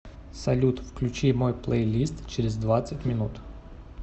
салют включи мой плейлист через двадцать минут